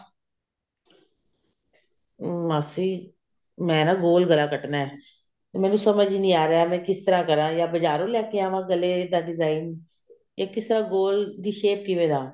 ਮਾਸੀ ਮੈਂ ਨਾ ਗੋਲ ਗਲਾ ਕੱਟਣਾ ਮੈਨੂੰ ਸਮਝ ਨੀ ਆ ਰਿਹਾ ਕਿਸ ਤਰ੍ਹਾਂ ਕਰਾਂ ਜਾ ਬਜਾਰੋਂ ਲੈਕੇ ਆਵਾਂ ਗਲੇ ਦਾ design ਜਾਂ ਕਿਸ ਤਰ੍ਹਾਂ ਗੋਲ ਦੀ shape ਕਿਵੇਂ ਲਵਾਂ